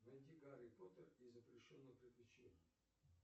найди гарри поттер и запрещенное приключение